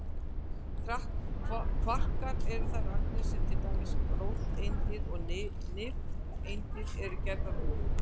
Kvarkar eru þær agnir sem til dæmis róteindir og nifteindir eru gerðar úr.